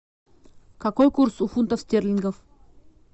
какой курс у фунта стерлингов